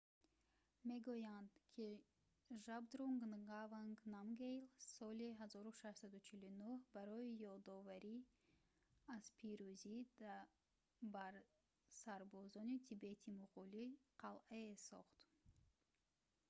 мегӯянд ки жабдрунг нгаванг намгйэл соли 1649 барои ёдоварӣ аз пирӯзӣ бар сарбозони тибетӣ-муғулӣ қалъае сохт